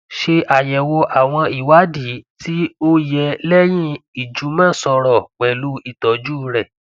ṣe ayẹwo awọn iwadii ti o o yẹ lẹhin ijumọsọrọ pẹlu itọju rẹ